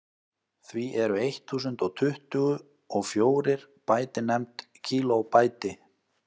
því eru eitt þúsund og tuttugu og fjórir bæti nefnd kílóbæti